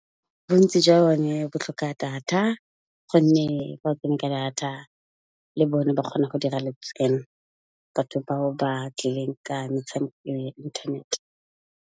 Bontsi jwa bone bo tlhoka data, gonne fa o kene ka data le bone ba kgona go dira letseno, batho bao ba tlileng ka metshameko ya internet.